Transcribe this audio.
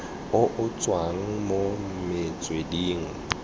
o o tswang mo metsweding